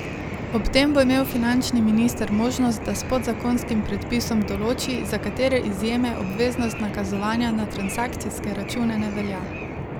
Ob tem bo imel finančni minister možnost, da s podzakonskim predpisom določi, za katere izjeme obveznost nakazovanja na transakcijske račune ne velja.